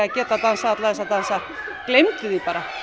dansa alla þessa dansa gleymdu því bara